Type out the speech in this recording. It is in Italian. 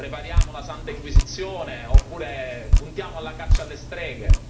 Prepariamo la Santa Inquisizione oppure puntiamo alla caccia alle streghe?